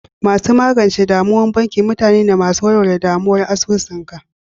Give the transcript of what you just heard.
Masu magance damuwan banki mutane ne masu warware ɗamuwa asusu ka.